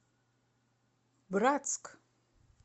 братск